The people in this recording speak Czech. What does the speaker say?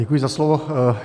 Děkuji za slovo.